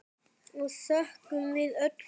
og þökkum við öll fyrir.